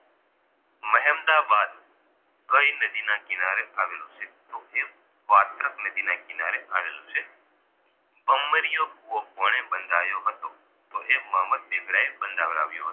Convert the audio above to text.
કઈ નદીના કિનારે આવેલું છે તો કે વાત્રક નદીના કિનારે આવેલુ છે બોંબર્યો કૂવો કોણે બંધાવ્યો હતો તો એ મોહમ્મદ બેગડા એ બંધાવવ્યો હતો